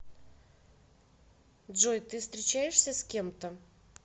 джой ты встречаешься с кем то